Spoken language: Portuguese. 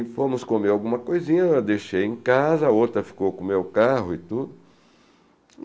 E fomos comer alguma coisinha, eu a deixei em casa, a outra ficou com o meu carro e tudo.